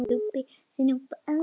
Svört og falleg.